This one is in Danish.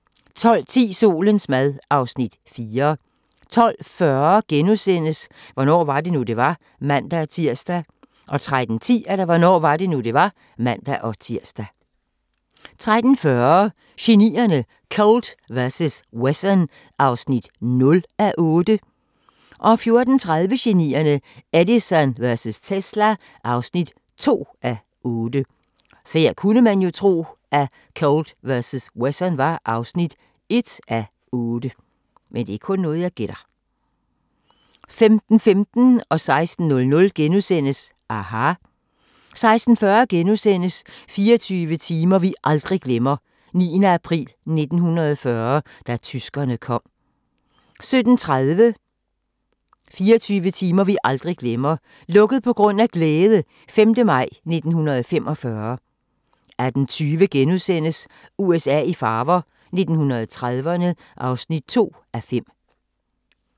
12:10: Solens mad (Afs. 4) 12:40: Hvornår var det nu, det var? *(man-tir) 13:10: Hvornår var det nu, det var? (man-tir) 13:40: Genierne: Colt vs. Wesson (0:8) 14:30: Genierne: Edison vs. Tesla (2:8) 15:15: aHA! * 16:00: aHA! * 16:40: 24 timer vi aldrig glemmer: 9. april 1940 – da tyskerne kom (7:8)* 17:30: 24 timer vi aldrig glemmer - "Lukket på grund af glæde" - 5. maj 1945 18:20: USA i farver – 1930'erne (2:5)*